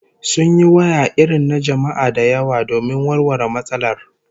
Sun yi waya irin na jama'a da yawa domin warware matsalar